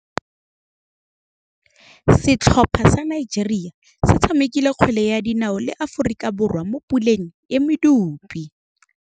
Setlhopha sa Nigeria se tshamekile kgwele ya dinaô le Aforika Borwa mo puleng ya medupe.